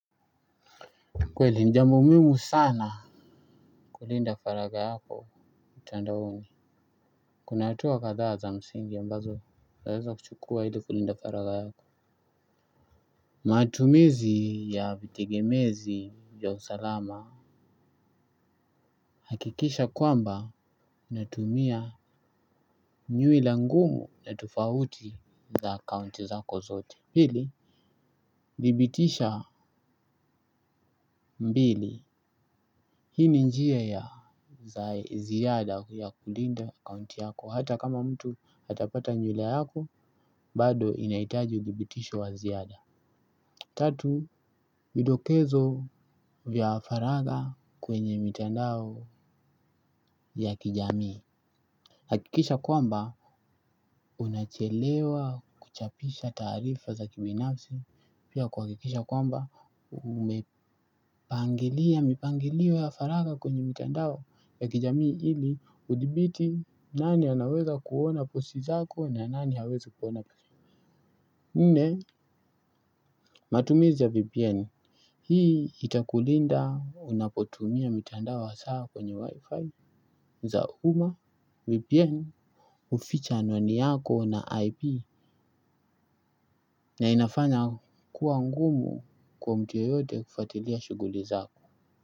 Kweli ni jambo muhimu sana kulinda faraga yako mtandaoni kuna hatua kadhaa za msingi ambazo zaweza kuchukua ili kulinda faraga yako matumizi ya vitegemezi vya usalama hakikisha kwamba unatumia nyuila ngumu na tofauti za akaunti zako zote pili thibitisha mbili hii ni njia ya za ziada ya kulinda akaunti yako hata kama mtu atapata nyuila yako. Bado inahitaji uthibitisho wa ziada. Tatu, midokezo vya faraga kwenye mitandao ya kijamii. Hakikisha kwamba, unachelewa kuchapisha taarifa za kibinafsi. Pia kuhakikisha kwamba, umepangilia, mipangilio ya faraga kwenye mitandao ya kijamii. Hili, uthibiti nani anaweza kuona posti zako na nani hawezi kuona nne, matumizi ya VPN. Hii itakulinda unapotumia mitandao hasa kwenye wifi za umma, VPN, huficha anwani yako na IP na inafanya kuwa ngumu kwa mtu yeyote kufuatilia shuguli zako.